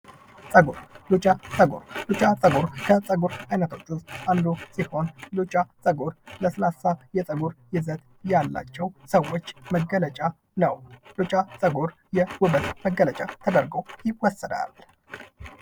ፀጉር፦ ሉጫ ፀጉር፦ ሉጫ ፀጉር ከፀጉር አይነቶች ውስጥ አንዱ ሲሆን ሉጫ ፀጉር ለስላሳ የፀጉር የዘር ያላቸው ሰወች መገለጫ ነው። ሉጫ ፀጉር የውበት መገለጫ ተደርጎ ይወሰዳል።